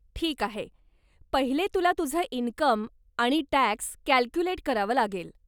ठीक आहे , पहिले तुला तुझं इनकम आणि टॅक्स कॅल्कूलेट करावं लागेल.